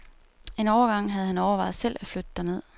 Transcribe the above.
En overgang havde han overvejet selv at flytte derned.